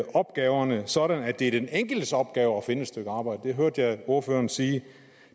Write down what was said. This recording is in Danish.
opgaverne sådan at det er den enkeltes opgave at finde et arbejde det hørte jeg ordføreren sige